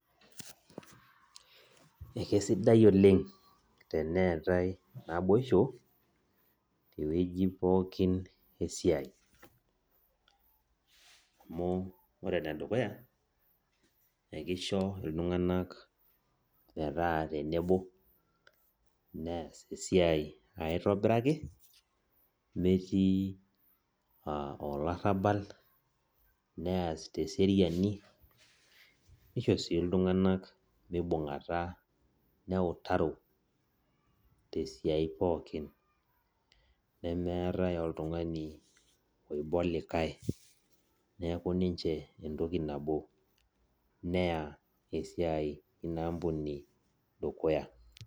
Ekesidai oleng teneetai naboisho tewoi pooki esiai amu ore enedukuya akisho ltunganak metaa nabo neas esiai metii olarabal neas teseriani nisho si ltunganak mibungata neutaro tesiai pookin nemeeta oltungani oiba olikae neaku ninche enitoki nabo neya esiai ina ampuni dukuya.